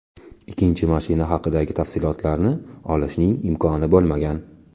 Ikkinchi mashina haqidagi tafsilotlarni olishning imkoni bo‘lmagan.